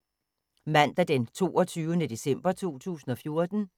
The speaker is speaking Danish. Mandag d. 22. december 2014